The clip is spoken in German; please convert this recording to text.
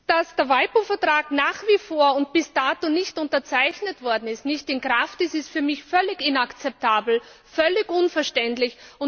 Dass der WIPO Vertrag nach wie vor und bis dato nicht unterzeichnet worden und nicht in Kraft ist, ist für mich völlig inakzeptabel, völlig unverständlich.